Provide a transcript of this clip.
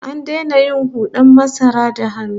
An daina yin hud'an masara da hannu